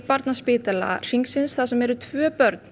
Barnaspítala Hringsins þar sem eru tvö börn